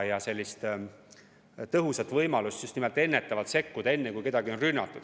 Ei ole tõhusat võimalust just nimelt ennetavalt sekkuda, enne kui kedagi on rünnatud.